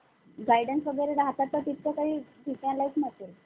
guide च वगैरे राहतात तर तितकं काही भीतीदायक नसेल.